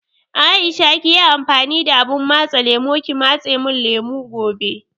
Aisha kiyi amfani da abun matse lemo ki matse mun lemo gobe